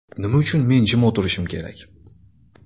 Nima uchun men jim o‘tirishim kerak?